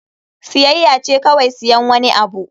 Siyayya ce kawai siyan wani abu.